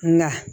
Nka